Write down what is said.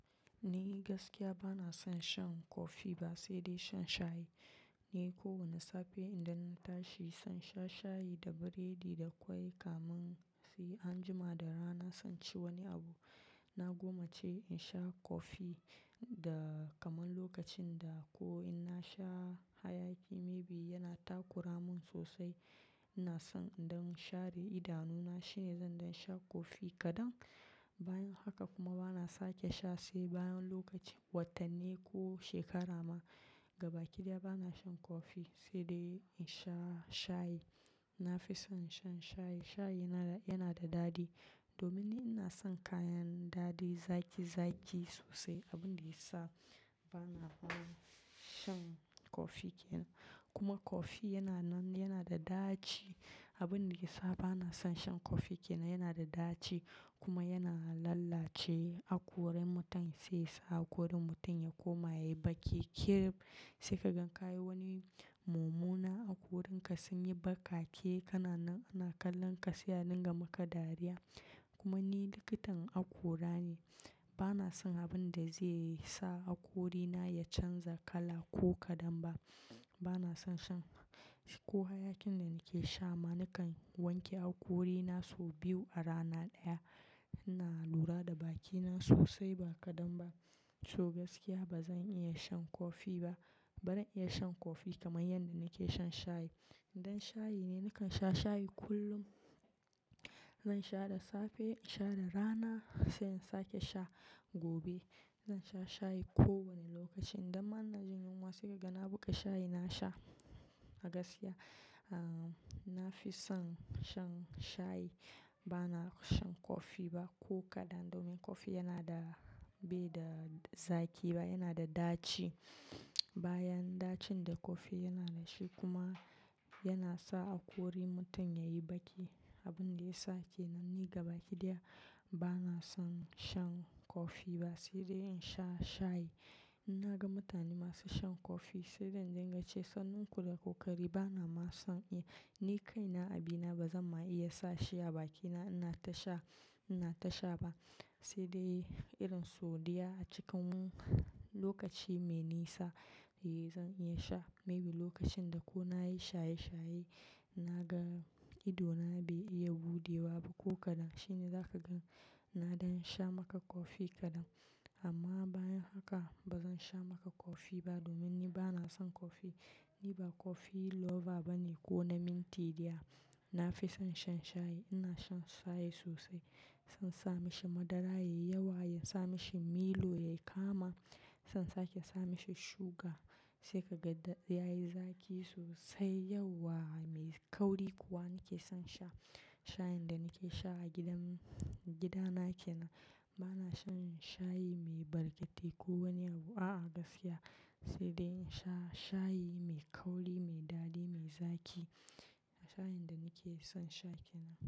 Ni gaskiya bana son shan kofi ba, sai dai shan shayi. Ni kowane safe idan na tashi, zan sha shayi da biredi da ƙwai. Kamansi anjima da rana zan ci wani abu. Na goma ce in sha kofi da kamar lokacin da ko in na sha hayaki maybe yana takura mun sosai. Ina son idan share idanuna shine zan don sha kofi kadan. Bayan haka kuma bana sake sha sai bayan lokacin watanne ko shekara ma. Gaba ɗaya bana shan kofi sai dai in sha shayi. Na fi son shan shayi. Shayi yana, yana da daɗi domin ni ina son kayan daɗi, zaki zaki sosai. Abin da ya sa bana son shan kofi kenan. Kuma kofi yana nan, yana da daci. Abin da ya sa bana son shan kofi kenan yana da daci kuma yana lalace hakoran mutum sai sa hakorin mutum ya koma yayi baki. Kire sai kagan ka wani mumuna, hakorinka sun yi bakake, kana nan ana kallon ka, sai anan gama ka dariya. Kuma ni likitan hakora ne. Bana son abin da zai sa hakorina ya canza kala ko kadan ba. Bana son shan ko hayakin da nake sha ma nakan wanke hakorina sau biyu a rana ɗaya. Ina lura da bakina sosai ba kadan ba. To gaskiya ba zan iya shan kofi ba. Barin iya shan kofi kamar yadda nake shan shayi. Idan shayi ne nakan sha shayi kullum. Zan sha da safe, sha da rana sai in sake sha gobe. Zan sha shayi ko wane lokaci. Idan ma ina jin yunwa sai gagana a buƙi shayi na sha a gaskiya. Ah, na fi son shan shayi. Bana shan kofi ba ko kadan domin kofi yana da bai da zaki ba, yana da daci. Kire sai kagan ka wani mumuna, hakorinka sun yi bakake, kana nan ana kallon ka, sai anan gama ka dariya. Abin da ya sake nan ni gaba ɗaya bana son shan kofi ba sai dai in sha shayi. In naga mutane masu shan kofi sai dain dinga ce, "Sannin ku da ƙoƙari bana ma son iya." Ni kaina abina ba zan ma iya sa shi a bakina ina ta sha, ina ta sha ba sai dai irin sodiya a cikin lokaci mai nisa ne zan iya sha. Maybe lokacin da ko na yi shaye shaye, na ga idona bai iya buɗewa ba ko kadan shine zaka gan na don sha maka kofi kadan. Amma bayan haka ba zan sha maka kofi ba domin ni bana son kofi. Ni ba kofi lover ba ne ko na mintiya. Na fi son shan shayi. Ina shan shayi sosai. Son sa mishi madara ya yi yawa, ya sa mishi Milo ya yi kama. Son sake sa mishi suga sai ka ga ya yi zaki sosai, yawa mai kauri kuwa nake son sha. Shayin da nake sha a gidan, gida nake na. Bana shan shayi mai barkatai ko wani abu a, a gaskiya sai dai sha shayi mai kauri, mai daɗi, mai zaki. Shayin da nake son sha kenan.